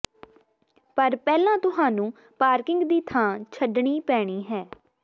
ਪਰ ਪਹਿਲਾਂ ਤੁਹਾਨੂੰ ਪਾਰਕਿੰਗ ਦੀ ਥਾਂ ਛੱਡਣੀ ਪੈਣੀ ਹੈ